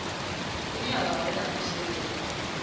ine ya vha holela masheleni